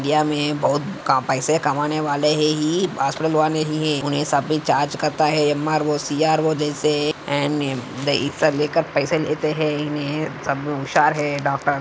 यहाँ हमे बहुत पैसे कमाने वाले है ही हॉस्पिटल वाले ही सफेद चार्ग करते है यम_आर ओ सी_आर वो जैसे अँड हिस्सा पैसे लेते है सबमे हुशार है डॉक्टर